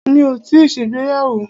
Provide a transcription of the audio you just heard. Mi ò tíì ṣègbéyàwó.